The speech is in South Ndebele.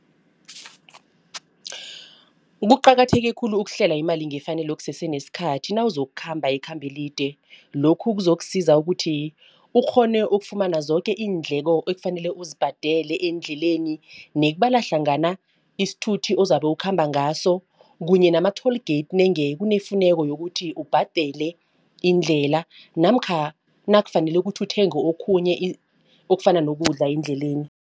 Kuqakatheke khulu ukuhlela imali ngefanelo kusesenesikhathi nawuzokukhamba ikhambo elide. Lokhu kuzokusiza ukuthi ukghone ukufumana zoke iindleko ekufanele uzibhadele eendleleni nekubala hlangana isithuthi ozabe ukhamba ngaso kunye nama-toll gate nange kunefuneka yokuthi ubhadele indlela namkha nakufanele kuthi uthenge okhunye okufana nokuncidza endleleni.